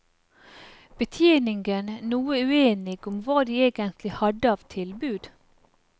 Betjeningen noe uenige om hva de egentlig hadde av tilbud.